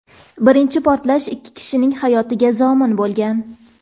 Birinchi portlash ikki kishining hayotiga zomin bo‘lgan.